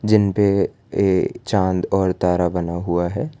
जिनपे ये चांद और तारा बना हुआ है।